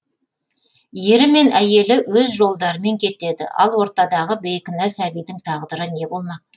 ері мен әйелі өз жолдарымен кетеді ал ортадағы бейкүнә сәбидің тағдыры не болмақ